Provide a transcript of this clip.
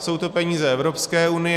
Jsou to peníze Evropské unie.